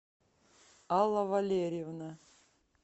алла валерьевна